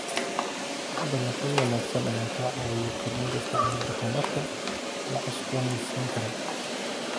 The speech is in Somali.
Dalagyo wanaagsan ayaa ka caawiya kordhinta isticmaalka tamarta la cusboonaysiin karo.